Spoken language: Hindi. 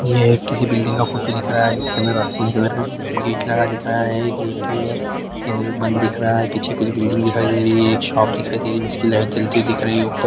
यह एक किसी बिल्डिंग का फोटो दिख रहा है इसके अंदर कलर का गेट लगा दिखा रहा है गेट में एह बंद दिख रहा है पीछे कुछ बिल्डिंग दिखाई दे रही है एक शॉप दिखाई दे रही है जिसकी लाइट जलती दिख रही है। ऊपर--